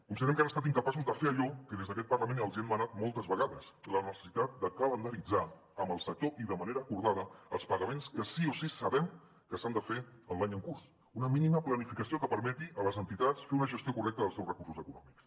considerem que han estat incapaços de fer allò que des d’aquest parlament els hem demanat moltes vegades la necessitat de calendaritzar amb el sector i de manera acordada els pagaments que sí o sí sabem que s’han de fer en l’any en curs una mínima planificació que permeti a les entitats fer una gestió correcta dels seus recursos econòmics